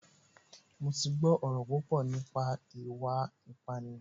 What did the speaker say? Mo ti gbọ́ ọ̀rọ̀ púpọ̀ nípa ìwà ìpánìyàn